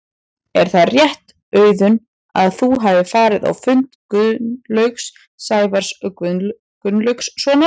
Er það rétt Auðun að þú hafir farið á fund Gunnlaugs Sævars Gunnlaugssonar?